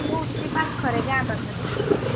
କୋଉଠି ସେଇ ପାଖରେ ଗାଁ ପାଖରେ?